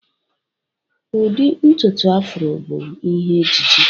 Ụdị ntutu Afro bụ ihe ejiji